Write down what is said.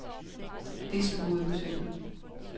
Det slog hovedet på sømmet.